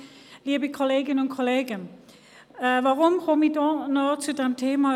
Weshalb sage ich etwas zu diesem Thema?